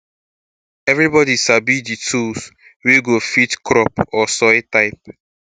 everybody sabi di tools wey um fit crop or soil type